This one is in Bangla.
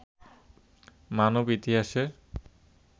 মানব ইতিহাসের